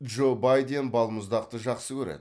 джо байден балмұздақты жақсы көреді